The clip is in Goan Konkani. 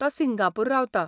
तो सिंगापूर रावता.